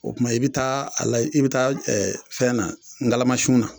O tuma i be taa a lay i be taa fɛn na ngalamasun na